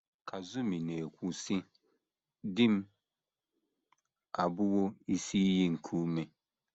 Kazumi na - ekwu,, sị: “ Di m abụwo isi iyi nke ume.